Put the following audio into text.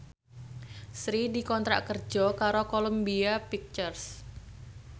Sri dikontrak kerja karo Columbia Pictures